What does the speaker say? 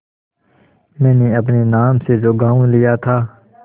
मैंने अपने नाम से जो गॉँव लिया था